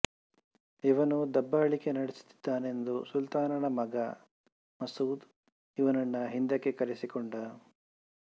ಇವನು ದಬ್ಬಾಳಿಕೆ ನಡೆಸುತ್ತಿದ್ದನೆಂದು ಸುಲ್ತಾನನ ಮಗ ಮಾಸೂದ್ ಇವನನ್ನು ಹಿಂದಕ್ಕೆ ಕರೆಸಿಕೊಂಡ